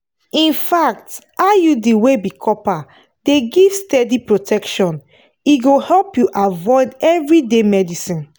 infact iud wey be copper dey give steady protection e go help you avoid everyday medicines.